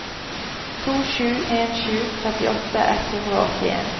to sju en sju trettiåtte ett hundre og åttien